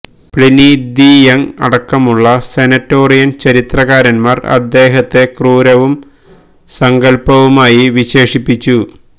Pliny the Young അടക്കമുള്ള senatorial ചരിത്രകാരന്മാർ അദ്ദേഹത്തെ ക്രൂരവും സങ്കല്പവുമായി വിശേഷിപ്പിച്ചു